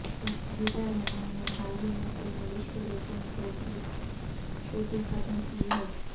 وحیدہ رحمان نے حال ہی میں فلم وشوروپم ٹو کی شوٹنگ ختم کی ہے